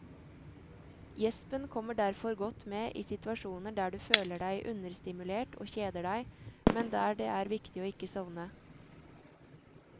Gjespen kommer derfor godt med i situasjoner der du føler deg understimulert og kjeder deg, men der det er viktig å ikke sovne.